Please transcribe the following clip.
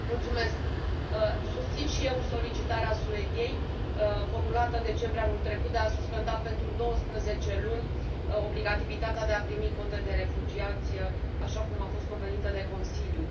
Domnule președinte, susțin și eu solicitarea Suediei, formulată în decembrie anul trecut, de a suspenda, pentru douăsprezece luni, obligativitatea de a primi cote de refugiați, așa cum a fost convenită de Consiliu.